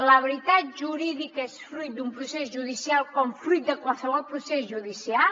la veritat jurídica és fruit d’un procés judicial com fruit de qualsevol procés judicial